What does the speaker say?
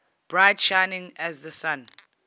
bright shining as the sun